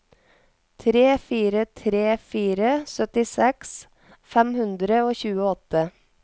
tre fire tre fire syttiseks fem hundre og tjueåtte